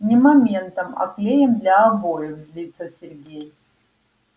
не моментом а клеем для обоев злится сергей